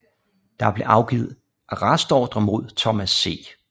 Der blev afgivet arrestordre mod Thomas C